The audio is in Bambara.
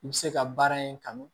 I bɛ se ka baara in kanu